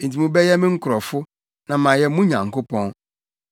“ ‘Enti mobɛyɛ me nkurɔfo, na mayɛ mo Nyankopɔn.’ ”